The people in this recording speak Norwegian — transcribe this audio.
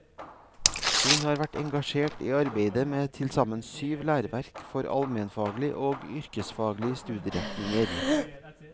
Hun har vært engasjert i arbeidet med tilsammen syv læreverk for almenfaglig og yrkesfaglige studieretninger.